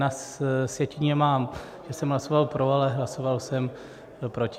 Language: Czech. Na sjetině mám, že jsem hlasoval pro, ale hlasoval jsem proti.